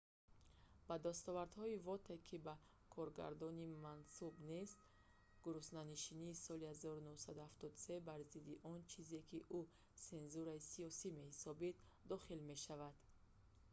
ба дастовардҳои воте ки ба коргардонӣ мансуб нест гуруснанишинии соли 1973 бар зидди он чизе ки ӯ сензураи сиёсӣ меҳисобид дохил мешавад